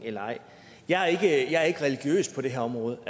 jeg er ikke religiøs på det her område